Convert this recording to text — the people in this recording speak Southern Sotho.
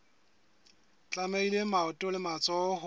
tlamehile maoto le matsoho ho